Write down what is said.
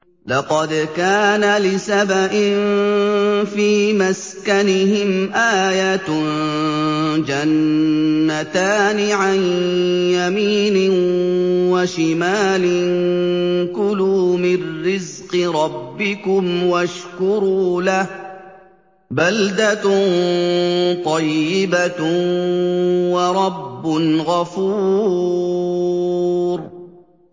لَقَدْ كَانَ لِسَبَإٍ فِي مَسْكَنِهِمْ آيَةٌ ۖ جَنَّتَانِ عَن يَمِينٍ وَشِمَالٍ ۖ كُلُوا مِن رِّزْقِ رَبِّكُمْ وَاشْكُرُوا لَهُ ۚ بَلْدَةٌ طَيِّبَةٌ وَرَبٌّ غَفُورٌ